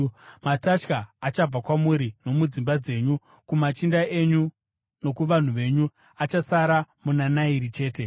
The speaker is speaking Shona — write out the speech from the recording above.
Matatya achabva kwamuri nomudzimba dzenyu, kumachinda enyu nokuvanhu venyu; achasara muna Nairi chete.”